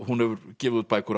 hún hefur gefið út bækur